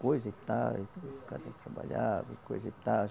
Coisa e tal, e cada dia trabalhava, coisa e tal.